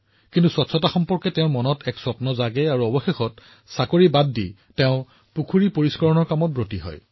কিন্তু তেওঁৰ মনত এনে পৰিষ্কাৰ পৰিচ্ছন্নতাৰ ভাৱ আছিল যে তেওঁ চাকৰি এৰি পুখুৰীবোৰ পৰিষ্কাৰ কৰিবলৈ আৰম্ভ কৰিছিল